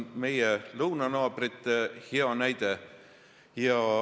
Meie lõunanaabritel on selle kohta hea näide.